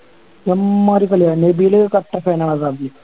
അമ്മാതിരി കളി ആണ് കട്ട fan ആ ഹസാഡ്ൻ്റെ